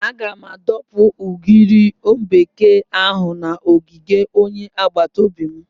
Aga m adọpụ ugiri bekee ahụ n'ogige onye agbata obi m.